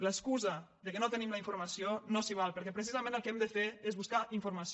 l’excusa que no tenim la informació no s’hi val perquè precisament el que hem de fer és buscar informació